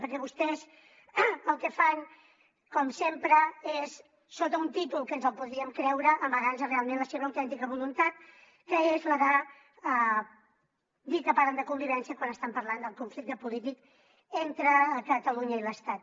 perquè vos·tès el que fan com sempre és sota un títol que ens podríem creure amagar·nos realment la seva autèntica voluntat que és la de dir que parlen de convivència quan estan parlant del conflicte polític entre catalunya i l’estat